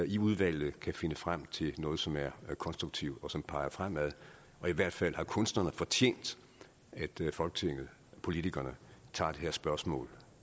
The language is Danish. i udvalget kan finde frem til noget som er konstruktivt og som peger fremad i hvert fald har kunstnerne fortjent at folketinget politikerne tager det her spørgsmål